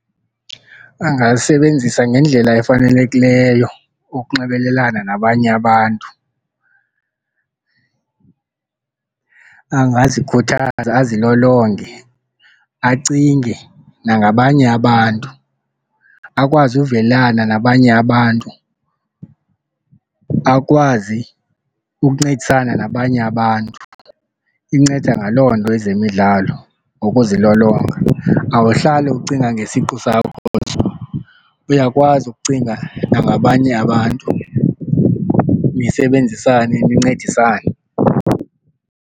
Angalisebenzisa ngendlela efanelekileyo ukunxibelelana nabanye abantu. Angazikhuthaza azilolonge acinge nangabanye abantu, akwazi uvelana nabanye abantu, akwazi ukuncedisana nabanye abantu. Inceda ngaloo nto ezemidlalo, nokuzilolonga. Awuhlali ukucinga ngesiqu sakho nje uyakwazi ukucinga nangabanye abantu nisebenzisane ndincedisane.